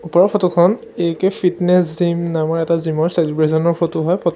ওপৰৰ ফটো খন A K fitness gym নামৰ এটা জিম ৰ চেলিব্ৰেচন ৰ ফটো হয় ফটো --